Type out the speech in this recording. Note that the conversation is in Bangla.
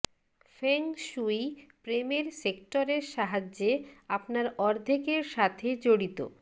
ফেং শুই প্রেমের সেক্টরের সাহায্যে আপনার অর্ধেকের সাথে জড়িত